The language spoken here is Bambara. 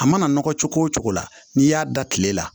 A mana nɔgɔ cogo o cogo la n'i y'a da kile la